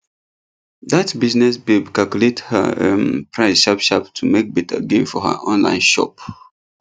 that business babe calculate her um price sharp sharp to make better gain for her online shop